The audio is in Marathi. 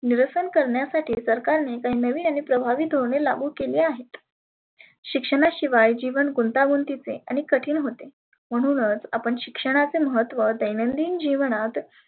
निरसन करण्यासाठी सरकारने काही नविन आणि प्रभावी धोरण लागु केले आहेत. शिक्षणा शिवाय जिवन गुंता गुंतीचे आणि कठीन होते. म्हणुनच आपण शिक्षणाचे महत्व दैनंदीन जिवणात